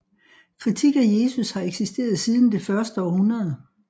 Kritik af Jesus har eksisteret siden det første århundrede